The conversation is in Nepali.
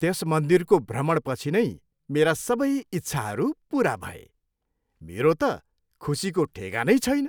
त्यस मन्दिरको भ्रमणपछि नै मेरा सबै इच्छाहरू पुरा भए। मेरो त खुसीको ठेगानै छैन।